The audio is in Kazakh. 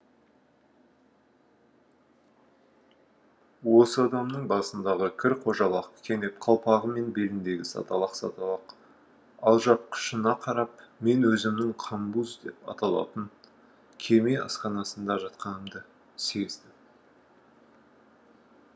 осы адамның басындағы кір қожалақ кенеп қалпағы мен беліндегі саталақ саталақ алжапқышына қарап мен өзімнің қамбуз деп аталатын кеме асханасында жатқанымды сездім